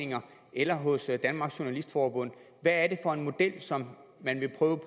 eller hos danmarks journalistforbund hvad er det for en model som man vil prøve